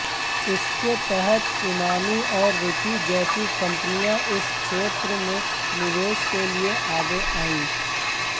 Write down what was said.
इसके तहत इमामी और रुचि जैसी कंपनियां इस क्षेत्र में निवेश के लिए आगे आईं